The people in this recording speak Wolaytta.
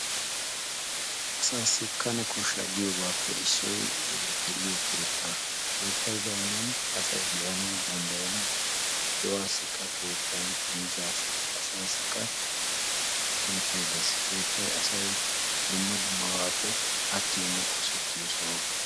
Asassi kane koshsha giyoobappe issoy de'iyo keettaa. Keettay baynnan asay daanawu denddayenna. do'assikka keettay, asassikka, miizzassikka keettay de'ees. Keettay asay dumma dummabappe attiyoonne qosettiyo soho.